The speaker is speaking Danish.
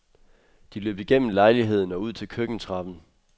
De løb igennem lejligheden og ud til køkkentrappen.